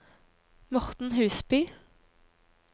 Morten Husby